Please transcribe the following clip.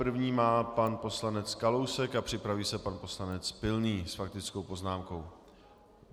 První má pan poslanec Kalousek a připraví se pan poslanec Pilný s faktickou poznámkou.